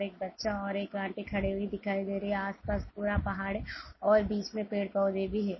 एक बच्चा और एक आँटी खड़ी हुई दिखाई दे रही है आस पास पूरा पहाड़ है और बीच में पेड़ पौधे भी है।